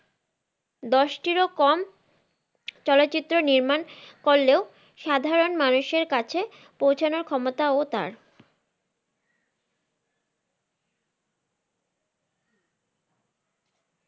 দশ টির ও কম চলচিত্র নির্মান করলেও সাধারন মানুষের কাছে পৌঁছানোর ক্ষমতাও তার।